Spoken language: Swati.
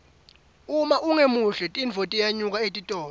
uma ungemuhle tinfo tiyenyuka etitolo